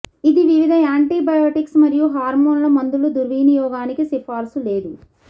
ఇది వివిధ యాంటీబయోటిక్స్ మరియు హార్మోన్ల మందులు దుర్వినియోగానికి సిఫార్సు లేదు